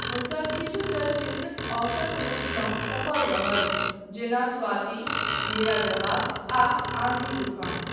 हुनकर किछु चलचित्र औसत रूपसँ सफल रहल, जेना स्वाती, मेरा जवाब, आ आन्धी तूफ़ान।